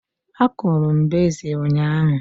A kụrụ m bezil ụnyaahụ